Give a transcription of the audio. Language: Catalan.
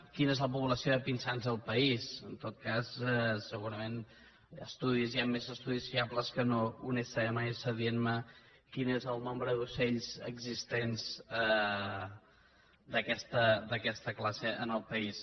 quina és la població de pinsans al país en tot cas segurament hi han estudis més fiables que no un sms dient me quin és el nombre d’ocells existents d’aquesta classe al país